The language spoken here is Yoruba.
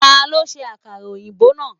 Ta ló ṣe àkàrà òyìnbó náà?.